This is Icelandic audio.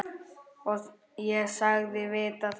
Ég sagðist vita það.